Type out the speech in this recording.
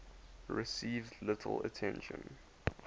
received little attention